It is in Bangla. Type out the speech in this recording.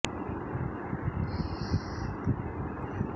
সিডনি মাঠে এই প্রথম নেই চার কিংবদন্তি ভাষ্যকারের কেউ